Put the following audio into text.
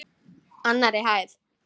Annarri hæð.